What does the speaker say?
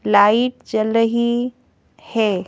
Light चल रही है।